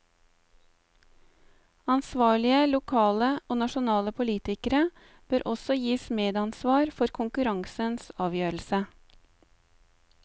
Ansvarlige lokale og nasjonale politikere bør også gis medansvar for konkurransens avgjørelse.